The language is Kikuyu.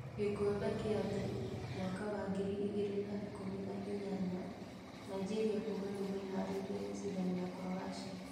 Gĩkombe gĩa thĩ mwaka wa ngiri igĩrĩ na ikũmi na inyanya: Nigeria kuga nĩmeharĩrĩirie gũcindana na Croatia.